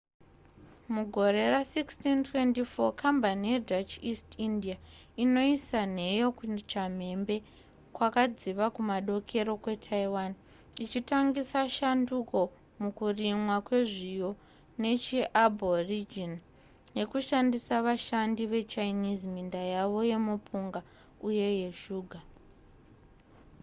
mugore ra1624 kambani yedutch east india inoisa nheyo kuchamhembe kwakadziva kumadokero kwetaiwan ichitangisa shanduko mukurimwa kwezviyo zvechiaborigine nekushandisa vashandi vechinese minda yavo yemupunga uye yeshuga